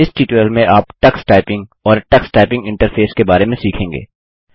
इस ट्यूटोरियल में आप टक्स टाइपिंग और टक्स टाइपिंग इंटरफेस के बारे में सीखेंगे